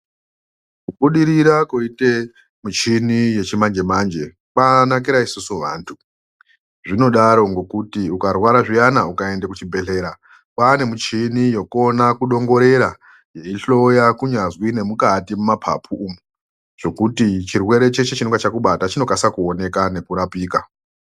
Kubudirira kuite muchini yechimanje manje kwakanakire isusu vantu zvinodaro ngekuti ukarwara zviyana ukaende kuchibhedhlera kwaane michini yokuona kudongorera yeihloya kunyazwi nemukati mumapapu umu zvekuti chirwere cheshe chinenge chakubata chinokasire kuoneka nekurapika.